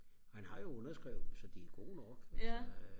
han har jo underskrevet dem så de er jo gode nok